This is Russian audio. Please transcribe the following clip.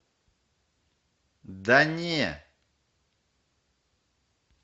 да не